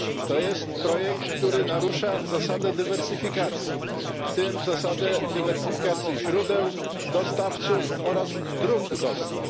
To jest projekt, który narusza zasadę dywersyfikacji, w tym zasadę dywersyfikacji źródeł, dostawców oraz dróg dostaw.